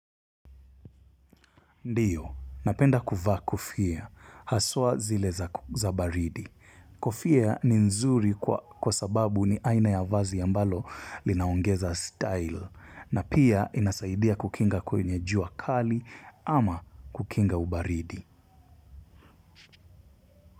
Ndiyo, napenda kuvaa kofia, haswa zile za baridi. Kofia ni nzuri kwa sababu ni aina ya vazi yambalo linaongeza style. Na pia inasaidia kukinga kwenye jua kali ama kukinga ubaridi.